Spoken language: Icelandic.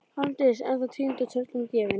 Arndís ennþá týnd og tröllum gefin.